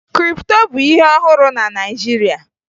Kripto bụ ihe ọhụrụ na Naịjirịa